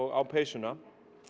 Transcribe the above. á peysuna